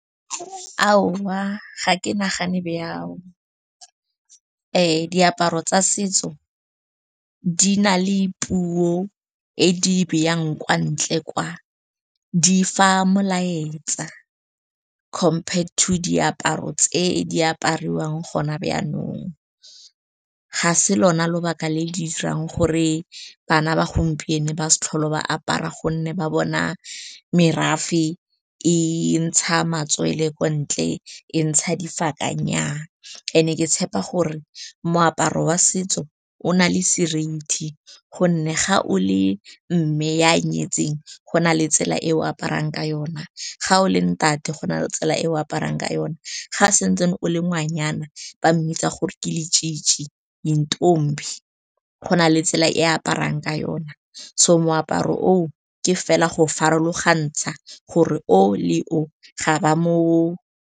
ga ke nagane byao ee diaparo tsa setso di na le puo e di byang kwa ntle kwa di fa molaetsa compare two diaparo tse di apariwang gona byanong ga se lona lobaka le le dirang gore bana ba gompieno ba sa tlhole ba apara gonne ba bona merafe e ntsha matswele ko ntle e ntsha dife baakanya and e ke tshepa gore moaparo wa setso o nale seriti gonne ga o le mme ya nyetseng go na le tsela e o aparang ka yona ga o leng thata go na le tsela e o aparang ka yone ga se ntse o le ngwanyana ba mmitsa gore ke le je introvert mme be go na le tsela e aparang ka yona so moaparo o ke fela go farologantsha gore o le o ga ba mo